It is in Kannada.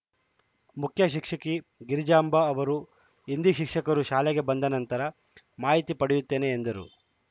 ಮುಖ್ಯ ಶಿಕ್ಷಕಿ ಗಿರಿಜಾಂಬ ಅವರು ಹಿಂದಿ ಶಿಕ್ಷಕರು ಶಾಲೆಗೆ ಬಂದ ನಂತರ ಮಾಹಿತಿ ಪಡೆಯುತ್ತೇನೆ ಎಂದರು